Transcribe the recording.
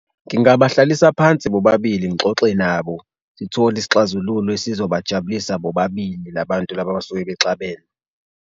Ngingabahlalisa phansi bobabili ngixoxe nabo, sithole isixazululo esizobajabulisa bobabili la bantu laba abasuke bexabene.